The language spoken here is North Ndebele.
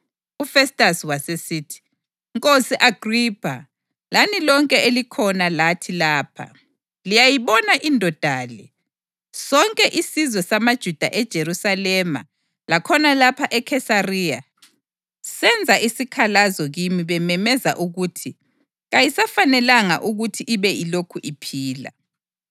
UFestasi wasesithi, “Nkosi Agripha, lani lonke elikhona lathi lapha, liyayibona indoda le! Sonke isizwe samaJuda eJerusalema lakhona lapha eKhesariya senza isikhalazo kimi bememeza ukuthi kayisafanelanga ukuthi ibe ilokhu iphila.